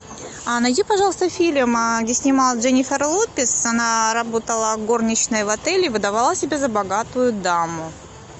найди пожалуйста фильм где снималась дженифер лопес она работала горничной в отеле выдавала себя за богатую даму